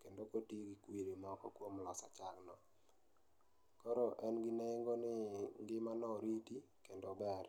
kendo koti gi kwiri moko kuom loso chagno. Koro en gi nengo ni ngimano oriti kendo ber.